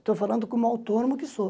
Estou falando como autônomo que sou.